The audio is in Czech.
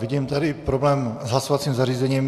Vidím tady problém s hlasovacím zařízením.